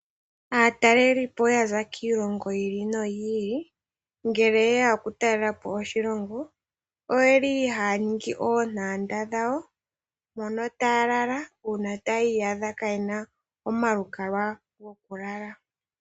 Aatalelipo ya za kiilongo yi ili noyi ili ngele ye ya okutalela po oshilongo, oye li haya ningi oontanda dhawo mono taya lala uuna taya iyadha kaaye na omalukalwa gokulala.